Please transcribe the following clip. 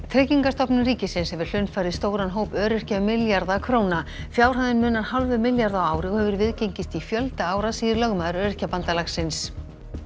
Tryggingastofnun ríkisins hefur hlunnfarið stóran hóp öryrkja um milljarða króna fjárhæðin munar hálfum milljarði á ári og hefur viðgengist í fjölda ára segir lögmaður Öryrkjabandalagsins